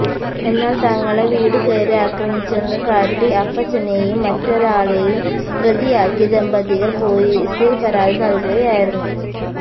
എന്നാൽ തങ്ങളെ വീടുകയറി ആക്രമിച്ചെന്നു കാട്ടി അപ്പച്ചനെയും മറ്റൊരാളേയും പ്രതിയാക്കി ദമ്പതികൾ പൊലീസിൽ പരാതി നൽകുകയായിരുന്നു